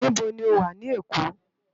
Nibó ni ó wá ni Ekó?